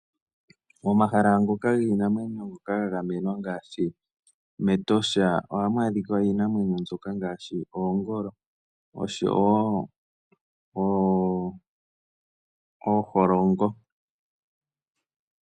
Momahala ngoka giinamwenyo ngoka ga gamenwa ngaashi mEtosha, ohamu adhika iinamwenyo ngaashi oongolo, oshowo ooholongo.